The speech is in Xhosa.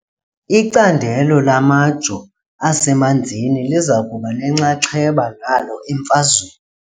Icandelo lamajo asemanzini liza kuba nenxaxheba nalo emfazweni .